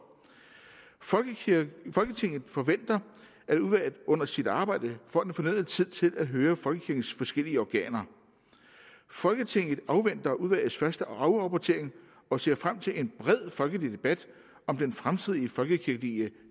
folketinget forventer at udvalget under sit arbejde får den fornødne tid til at høre folkekirkens forskellige organer folketinget afventer udvalgets første afrapportering og ser frem til en bred folkelig debat om den fremtidige folkekirkelige